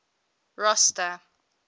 rosta